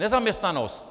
Nezaměstnanost.